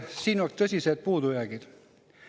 Siin on tõsised puudujäägid.